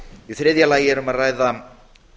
í þriðja lagi er um að ræða